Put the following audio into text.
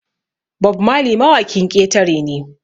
Bob Marley mawakin ƙetare ne